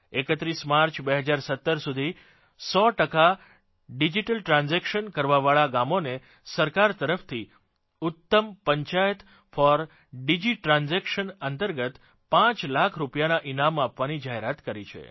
31 March 2017 સુધી 100 ટકા digital transaction કરવાવાળા ગામોને સરકાર તરફથી ઉત્તમ પંચાયત ફોર ડિજી ટ્રાન્જેક્શન અંતર્ગત 5 લાખ રૂપિયાના ઇનામ આપવાની જાહેરાત કરી છે